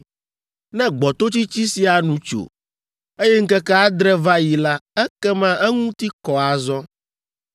“ ‘Ne gbɔtotsitsi sia nu tso, eye ŋkeke adre va yi la, ekema eŋuti kɔ azɔ.